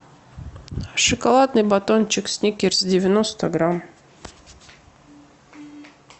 шоколадный батончик сникерс девяносто грамм